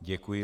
Děkuji.